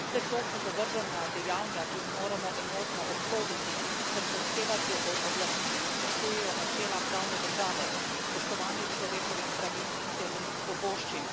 Vse to so zavržna dejanja, ki jih moramo enotno obsoditi ter zahtevati od oblasti, da spoštujejo načela pravne države, spoštovanje človekovih pravic in temeljnih svoboščin.